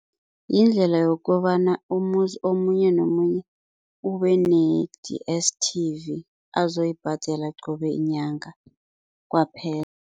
Yindlela yokobana umuzi omunye nomunye ubene-D_S_T_V azoyibhadela qobe nyanga kwaphela.